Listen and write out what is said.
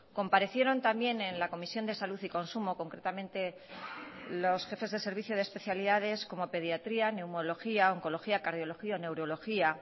comparecieron también en la comisión de salud y consumo concretamente los jefes de servicio de especialidades como pediatría neumología oncología cardiología neurología